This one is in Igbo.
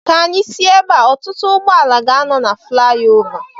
Ka anyị si ebea. Ọtụtụ ụgbọala ga-anọ na flayova